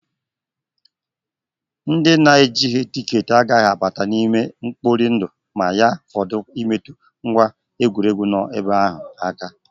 Ndị na-ejighị tikeetị agaghị abata n'ime ama mkpori ndu ma ya fọdụ imetụ ngwa egwuregwu nọ ebe ahụ aka